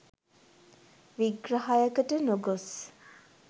විග්‍රහයකට නොගොස්